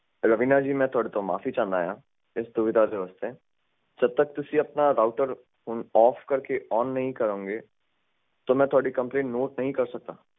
ਰਵੀਨਾ ਜੀ ਮੈਂ ਤੁਹਾਡੇ ਤੋਂ ਮਾਫੀ ਚਾਣਾ ਆ ਇਸ ਸੁਵਿਧਾ ਦੇ ਵਾਸਤੇ ਜਦੋ ਤਕ ਤੁਸੀਂ ਆਪਣਾ ਰਾਊਟਰ ਓਫ ਕਰਕੇ ਓਨ ਨਹੀਂ ਕਰੋਗੇ ਤੇ ਮੈਂ ਤੁਹਾਡੀ ਕੰਪਲੇਂਟ ਨੋਟ ਨਹੀਂ ਕਰ ਸਕਦਾ